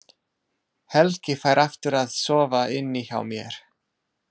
Helgi fær aftur að sofa inni hjá mér.